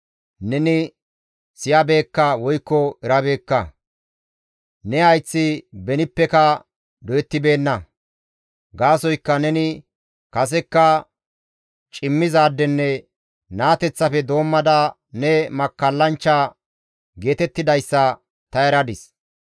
Neni siyabeekka woykko erabeekka; ne hayththi benippeka doyettibeenna. Gaasoykka neni kasekka cimmizaadenne naateththafe doommada ne makkallanchcha geetettidayssa ta eradis.